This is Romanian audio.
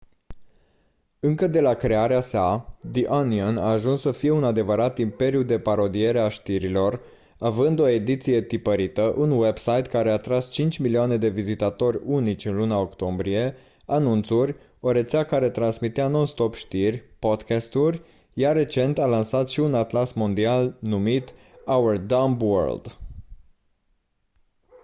încă de la crearea sa the onion a ajuns să fie un adevărat imperiu de parodiere a știrilor având o ediție tipărită un website care a atras 5.000.000 de vizitatori unici în luna octombrie anunțuri o rețea care transmitea non stop știri podcast-uri iar recent a lansat și un atlas mondial numit our dumb world